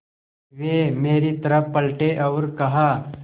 वे मेरी तरफ़ पलटे और कहा